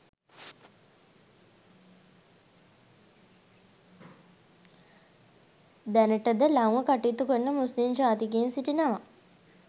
දැනටද ලංව කටයුතු කරන මුස්ලිම් ජාතිකයින් සිටිනවා